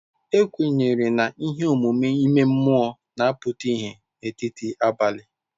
Ekwenyere na ihe omume ime mmụọ na-apụta ìhè n'etiti abalị.